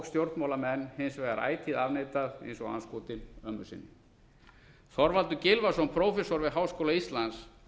stjórnmálamenn hins vegar ætíð afneitað eins og andskotinn ömmu sinni þorvaldur gylfason prófessor við háskóla íslands